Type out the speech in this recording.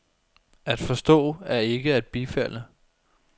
At forstå er ikke at bifalde.